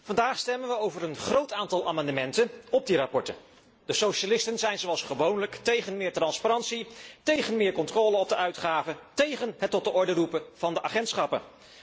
Vandaag stemmen we over een groot aantal amendementen op die verslagen. De socialisten zijn zoals gewoonlijk tegen meer transparantie, tegen meer controle op de uitgaven, tegen het tot de orde roepen van de agentschappen.